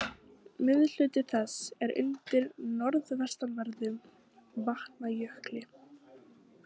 Miðhluti þess er undir norðvestanverðum Vatnajökli.